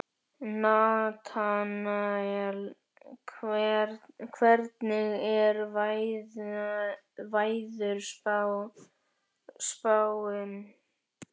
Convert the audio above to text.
Natanael, hvernig er veðurspáin?